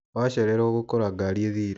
Wacerero ũgũkora gari ĩthire.